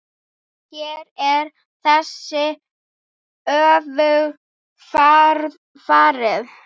Hér er þessu öfugt farið.